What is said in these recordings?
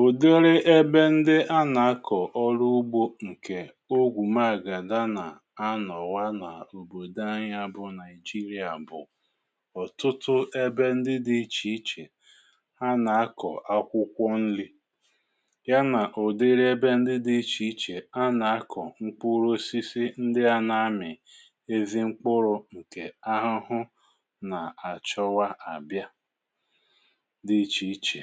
Ụ̀dịrị ebe ndị a nà-akọ̀ ọrụ ugbȯ ǹkè ogwù maàgàda nà-anọ̀wà nà òbòdò anyị á bụ Naijiria bụ̀ ọ̀tụtụ ebe ndị dị̇ ichè ichè á nà-akọ̀ akwụkwọ yá nà ùdịrị ebe ndị dị̇ ichè ichè á nà-akọ̀ mkpụrụ osisi ndị á na-amị̀ ezi mkpụrụ ǹkè ahụhụ nà àchọwa àbịa dị ichè ichè.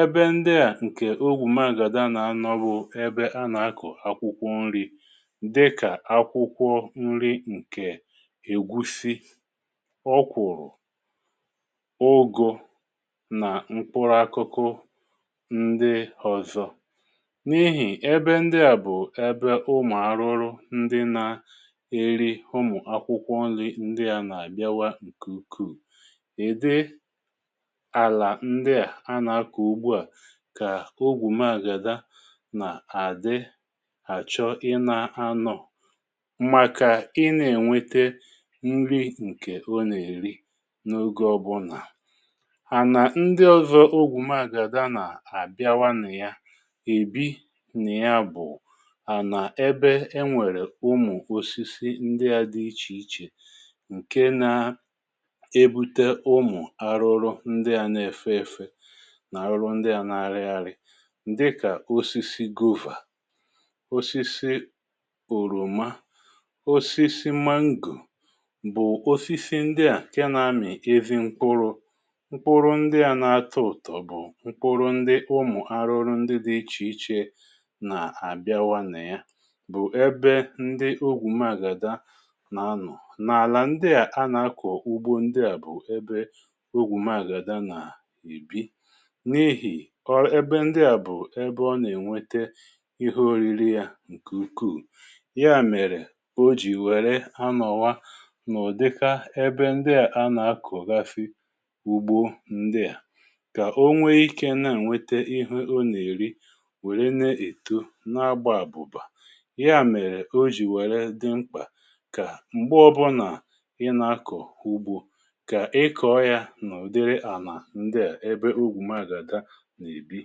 Ebe ndị à ǹkè ogwù magàda nà-anọ̀ bụ̀ ebe á nà-akọ̀ akwụkwọ nri̇ dịkà akwụkwọ nri ǹkè ègwusi, ọkwụ̀rụ̀, ụgụ nà mkpụrụ akụkụ ndị ọ̀zọ n’ihì ebe ndị à bụ̀ ebe ụmụ̀ arụrụ ndị na-eri ụmụ akwụkwọ nri ndị à nà-àbịawa ǹkè ukù. Ịdị ala ndị á ana akọ ugbo a kà ogwù maagàda nà-àdị àchọ ịna anọ̀ màkà ị na-ènwete nri ǹkè o nà-èri n’oge ọbụnà. Ànà ndị ọ̀zọ ogwù maagàda nà-àbịawa nị ya èbi nị ya bụ̀ ànà ebe enwèrè ụmụ̀ osisi ndị ȧ dị ichè ichè ǹke na ebute ụmụ̀ arụrụ ndị ȧ na-efe èfe nà arụrụ ndị á nà arị arị dị kà osisi gova, osisi òròma. Osisi mango bụ̀ osisi ndị à nkè nȧ-amị̀ ezi mkpụrụ mkpụrụ ndị à na-atọ̇ ụ̀tọ̀ bụ̀ mkpụrụ ndị ụmụ̀ arụrụ ndị dị̇ ichè ichè nà àbịawa nà ya bụ̀ ebe ndị ogwù magàda nà anọ. N’àlà ndị à anà-ako ugbo ndị à bụ̀ ebe ogwù magàda nà ebi n'ihi um ebe ndị à bụ ebe ọ nà-ènwete ihé oriri yȧ ǹkè ukuù. Yá, mèrè o jì wère anọ̀wa nụ̀dịka ébé ndị à anà akọ̀gasi ugbo ndị à kà o nwee ikė na-ènwete ihé ọ nà-èri wère na-èto n’agba àbụ̀ba yá mèrè, o jì wère dị mkpà kà m̀gbe ọbụnà ị nà-akọ̀ ugbo kà ị kọọ yà nụdịrị ànà ndị à ebe ogwu magàdaa nà ebi.